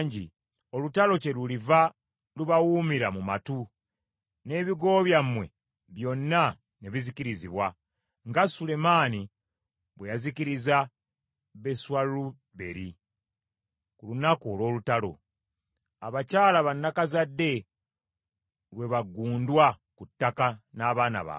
olutalo kyeluliva lubawuumira mu matu, n’ebigo byammwe byonna ne bizikirizibwa, nga Sulemaani bwe yazikiriza Beswaluberi ku lunaku olw’olutalo, abakyala ba nnakazadde lwe baggundwa ku ttaka n’abaana baabwe.